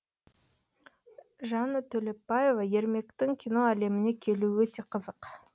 жанна төлепбаева ермектің кино әлеміне келуі өте қызық